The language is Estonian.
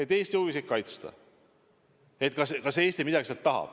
Kas Eesti midagi sealt tahab?